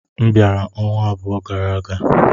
M bịara ọnwa abụọ gara aga.